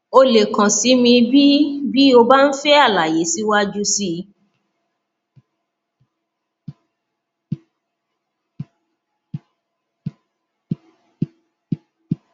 o lè kàn sí mi bí bí o bá ń fẹ àlàyé síwájú sí i